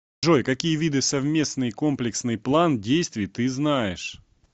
джой какие виды совместный комплексный план действий ты знаешь